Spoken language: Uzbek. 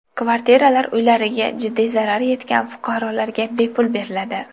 Kvartiralar uylariga jiddiy zarar yetgan fuqarolarga bepul beriladi.